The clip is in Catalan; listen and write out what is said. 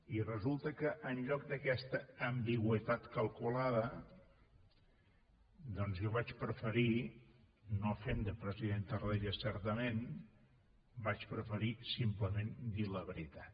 i resulta que en lloc d’aquesta ambigüitat calculada jo vaig preferir no fent de president tarradellas certament simplement dir la veritat